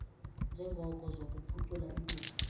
ngeenjongo zokuphucula impilo